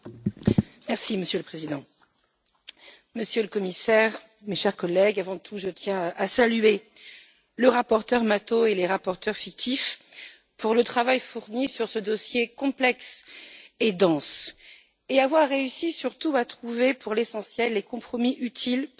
Monsieur le Président, Monsieur le Commissaire, mes chers collègues, avant tout, je tiens à saluer le rapporteur, M. Mato, et les rapporteurs fictifs pour le travail fourni sur ce dossier complexe et dense et pour avoir réussi, surtout, à trouver pour l'essentiel des compromis utiles pour avancer.